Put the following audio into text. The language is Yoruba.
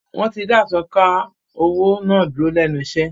Wọ́n ti da “asọ̀ǹkà owó” náà dúró lẹ́nu iṣẹ́.